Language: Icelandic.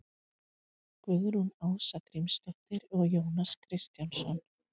Guðrún Ása Grímsdóttir og Jónas Kristjánsson.